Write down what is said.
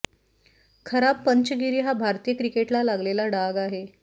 खराब पंचगिरी हा भारतीय क्रिकेटला लागलेला डाग आहे